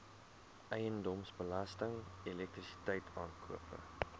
eiendomsbelasting elektrisiteit aankope